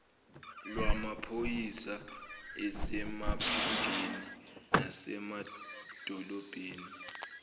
lwamaphoyisa asemaphandleni nasemadolobheni